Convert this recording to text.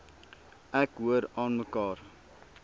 ek hoor aanmekaar